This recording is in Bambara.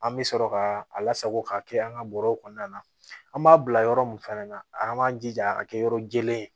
An bɛ sɔrɔ ka a lasago ka kɛ an ka bɔrɔw kɔnɔna na an b'a bila yɔrɔ mun fɛnɛ na an b'an jija a ka kɛ yɔrɔ jɛlen